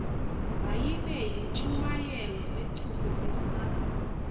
mayibe yintshumayelo echukumisa